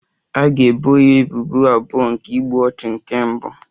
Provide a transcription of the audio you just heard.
A ga-ebo ya ebubo abụọ nke igbu ọchụ nke mbụ